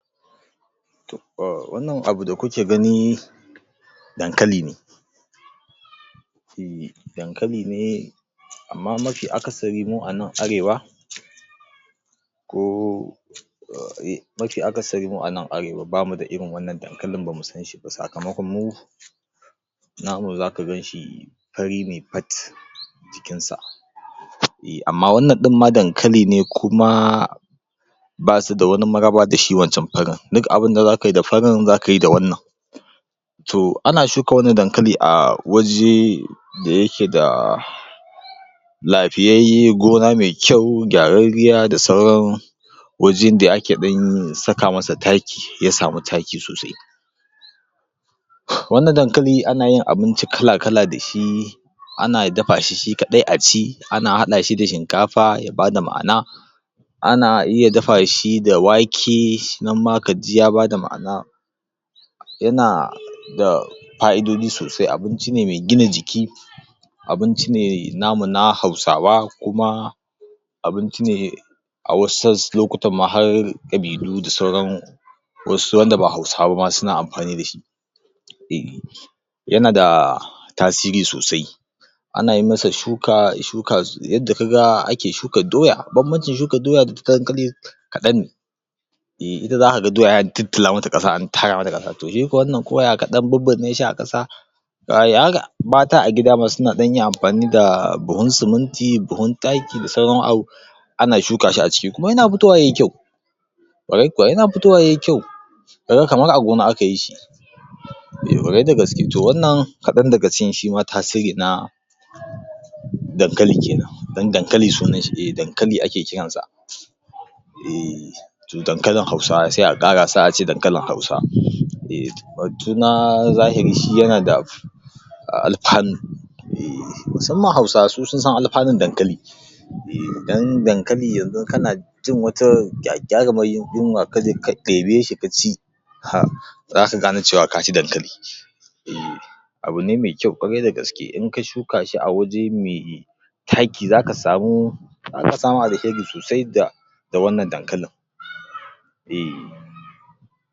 To a wannan abu da kuke gani, Dankali ne, ehh dankali ne amma mafi akasari mu anan arewa ko mafi akasari mu anan arewa bamu da irin wannan dankalin mu ba mu sanshi ba sakamakon mu namun za ka ganshi, fari ne fat, jikinsa. Ehh amma wannan ɗinma dakali ne kuma, basu da wani maraba da shi wancan farin,. duk abunda za kayi da wannan To, ana shuka wannan dankali a waje da yake da, lafiyauyye, gona mai kyau, gyararriya, da sauran wajen da ake ɗan saka masa taki, ya samu taki sosai. Wannan dankali ana yin abinci kala da shi, ana dafa shi shi kaɗai a ci, ana haɗa shi dfa shinkafa ya ba da ma, ana, ana iya dafa shi da wake nan ma kaji ya ba da ma'ana, yana da fa'idodi sosai, abinci ne mai gina jiki, abinci ne namu na hausawa kuma, abinci ne, a wasu lokutan ma har ƙabilu da sauran wasu wanda ba hausawa bama suna amfani da shi. eh Yana da tasiri sosai, ana yi masa shuka yadda kaga ana shukan doya, bambanci shukan doya ta da ta dankali kaɗan ne, ehh uta za ka ga doya sai an tiltila mata ƙasa, an tara mata ƙasa, shi kuwa wannan koyaya kaɗan bibbinne shi a ƙasa, mata a gida ma suna ɗanyin amfani da buhun siminti buhun taki da sauran abu ana shuka shi a ciki kuma yana fitowa yayi kyau. Ƙwarai kuwa yana fitowa yayi kyau, ka ga kamar a gona aka yishi. Eh ƙwarai da gaske, wannan kaɗan dga cikin tasiri na dankalin kenan. Don Dankali sunan shi, dankali ake kiran sa. ehhh eh to Dankaluin Hausawa, sai a ƙara a ce dankalin hausa. Batu na jahiri shi yana da ahh alfano, ehhh musamman hausawa su sun san alfanon dankali, eh don dankal;i yanzu kana jin wata gagarimar yunwa kaje ka ɗebe shi ka ci, haa za ka gane cewa ka ci dankali. Ehh abu ne mai kyau ƙwarai da gaske, in ka shuka shi a waje me taki, za ka samu alheri sosai da da wannan dankalin ehh.